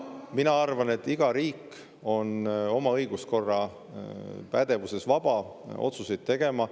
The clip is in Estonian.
Mina arvan, et iga riik on oma õiguskorra pädevuses vaba otsuseid tegema.